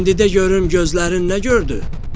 İndi də görüm gözlərin nə gördü?